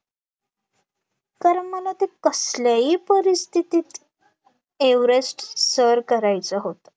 कारण मला ते कसल्याही परिस्थितीत एव्हरेस्ट सर करायचं होतं